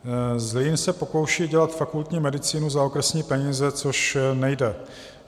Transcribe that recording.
Zlín se pokouší dělat fakultní medicínu za okresní peníze, což nejde.